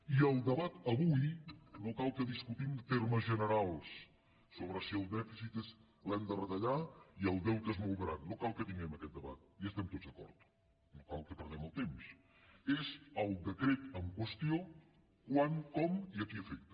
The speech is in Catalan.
i el debat avui no cal que discutim termes generals sobre si el dèficit l’hem de retallar i el deute és molt gran no cal que tinguem aquest debat hi estem tots d’acord no cal que perdem el temps és el decret en qüestió quan com i a qui afecta